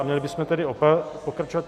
A měli bychom tedy pokračovat.